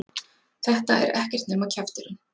Þetta er ekkert nema kjafturinn!